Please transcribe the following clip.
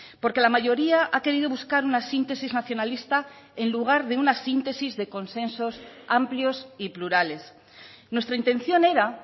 porque la mayoría ha querido buscar una síntesis nacionalista en lugar de una síntesis de consensos amplios y plurales nuestra intención era